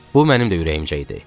Bu mənim də ürəyimcə idi.